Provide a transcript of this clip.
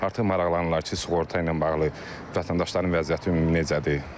Artıq maraqlanırlar ki, sığorta ilə bağlı vətəndaşların vəziyyəti ümumi necədir?